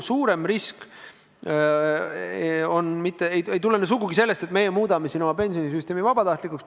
Suurem risk ei tulene sugugi sellest, et me muudame pensionisüsteemi vabatahtlikuks.